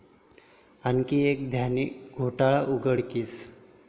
आणखी एक धान्य घोटाळा उघडकीस